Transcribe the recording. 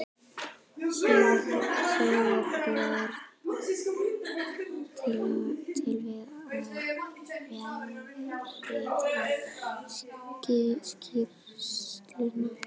Sigurbjörn til við að vélrita skýrsluna.